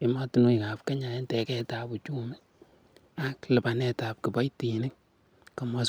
emet ab Kenya en tegetab uchumi ak lipanetab kipoitiniik.